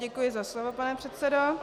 Děkuji za slovo, pane předsedo.